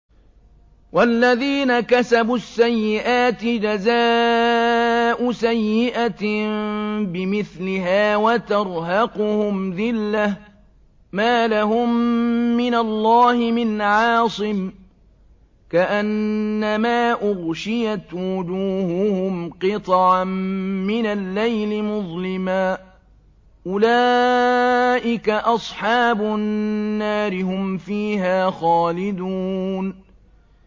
وَالَّذِينَ كَسَبُوا السَّيِّئَاتِ جَزَاءُ سَيِّئَةٍ بِمِثْلِهَا وَتَرْهَقُهُمْ ذِلَّةٌ ۖ مَّا لَهُم مِّنَ اللَّهِ مِنْ عَاصِمٍ ۖ كَأَنَّمَا أُغْشِيَتْ وُجُوهُهُمْ قِطَعًا مِّنَ اللَّيْلِ مُظْلِمًا ۚ أُولَٰئِكَ أَصْحَابُ النَّارِ ۖ هُمْ فِيهَا خَالِدُونَ